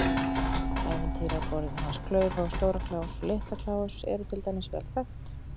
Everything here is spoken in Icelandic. Ævintýri á borð við Hans klaufa og Stóra-Kláus og Litla-Kláus eru til dæmis vel þekkt.